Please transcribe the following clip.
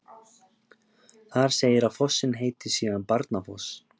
þar segir að fossinn heiti síðan barnafoss